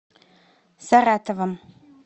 саратовом